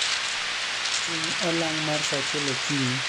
chung olang mar saa achiel okinyi